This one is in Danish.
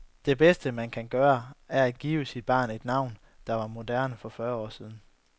Det bedste, man kan gøre, er at give sit barn et navn, der var moderne for fyrre år siden.